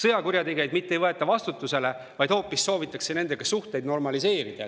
Sõjakurjategijaid mitte ei võeta vastutusele, vaid hoopis soovitakse nendega suhteid normaliseerida.